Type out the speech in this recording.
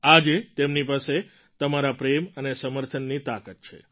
આજે તેમની પાસે તમારા પ્રેમ અને સમર્થનની તાકાત છે